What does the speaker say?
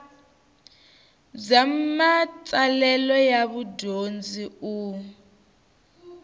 bya matsalelo ya mudyondzi u